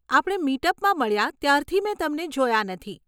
આપણે મીટ અપમાં મળ્યાં ત્યારથી મેં તમને જોયા નથી.